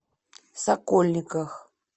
сокольниках